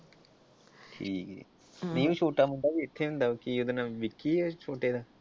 ਹਮ ਊਂ ਛੋਟਾ ਮੁੰਡਾ ਵੀ ਇੱਥੇ ਹੀ ਹੁੰਦਾ ਹੈ ਕੀ ਉਹਦਾ ਨਾਮ ਵਿੱਕੀ ਐ?